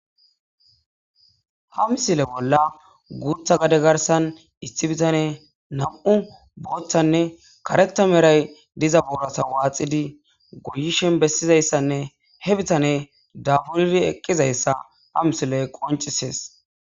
Ha misile bolla guuththa gadde garssan issi biittane nam'u booththanne kareththa meray diza boorra waaxxidii goyishin bessizayssanne he biittane daabburidii eqqizayssa ha misiley qonccises